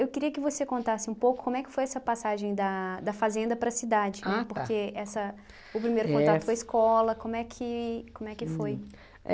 Eu queria que você contasse um pouco como é que foi essa passagem da da fazenda para a cidade, porque essa o primeiro contato foi escola, como é que como é que foi?